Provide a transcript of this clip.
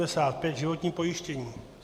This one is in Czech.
N585 - životní pojištění.